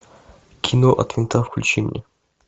кино от винта включи мне